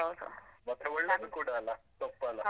ಮತ್ತೆ ಒಳ್ಳೆದು ಕೂಡ ಅಲ್ಲ ಸೊಪ್ಪೆಲ್ಲಾ.